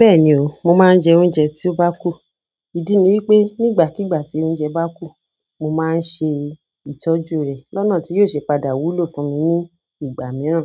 Bẹ́ẹ̀ni o, mo máa ń jẹ oúnjẹ tí ó bá kù. Ìdí ni wípé nígbàkígbà tí oúnjẹ bá kù, mo máa ń ṣe ìtọ́jú rè lọ́nà tí óò ṣe padà wúlò fún mi ní ìgbà mìíràn.